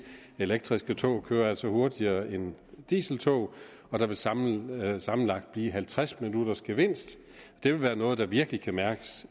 at elektriske tog altså kører hurtigere end dieseltog og der vil sammenlagt sammenlagt blive halvtreds minutters gevinst det vil være noget der virkelig kan mærkes